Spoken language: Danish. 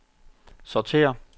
sortér